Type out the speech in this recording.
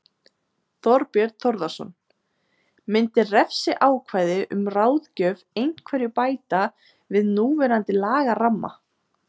Þorbjörn Þórðarson: Myndi refsiákvæði um ráðgjöf einhverju bæta við núverandi lagaramma?